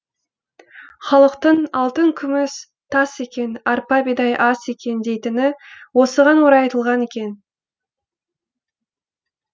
халықтың алтын күміс тас екен арпа бидай ас екен дейтіні осыған орай айтылған екен